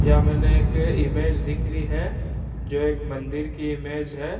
यह मैंने एक इमेज दिख रही है जो एक मंदिर की इमेज है।